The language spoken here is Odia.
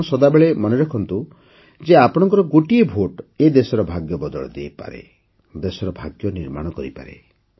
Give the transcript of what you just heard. ଆପଣ ସଦାବେଳେ ମନେ ରଖନ୍ତୁ ଯେ ଆପଣଙ୍କର ଗୋଟିଏ ଭୋଟ ଏ ଦେଶର ଭାଗ୍ୟ ବଦଳାଇ ଦେଇପାରେ ଦେଶର ଭାଗ୍ୟ ନିର୍ମାଣ କରିପାରେ